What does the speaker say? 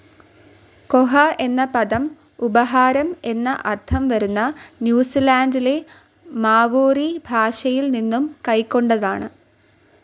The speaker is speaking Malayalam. കോഹ എന്ന പദം ഉപഹാരം എന്ന അർത്ഥം വരുന്ന ന്യൂസിലാൻഡിലെ മാവോറി ഭാഷയിൽ നിന്നും കൈക്കൊണ്ടതാണ്.